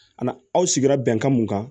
Ani aw sigira bɛnkan mun kan